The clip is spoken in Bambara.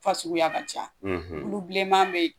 Fa suguya ka ca , tulu bilenman be yen